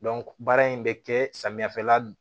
baara in bɛ kɛ samiyɛfɛla dun